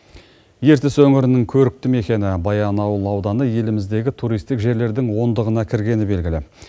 ертіс өңірінің көрікті мекені баянауыл ауданы еліміздегі туристік жерлердің ондығына кіргені белгілі